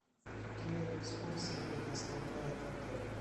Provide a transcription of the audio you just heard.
какие экскурсии предоставляет отель